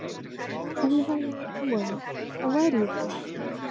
Ef ég hefði ekki trú á því, þá væri ég ekki hérna.